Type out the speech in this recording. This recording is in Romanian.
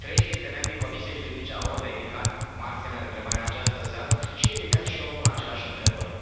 Trei dintre membrii Comisiei juridice au ridicat mari semne de întrebare în această seară și evident și eu îmi pun aceleași întrebări.